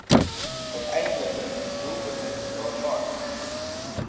uiteindelike doelwitte daarvan